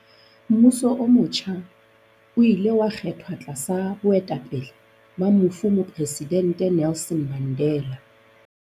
Mmuso o motjha o ile wa kgethwa tlasa boetapele ba mofu Mopresidente Nelson Mandela.